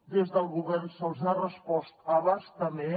des del govern se’ls ha respost a bastament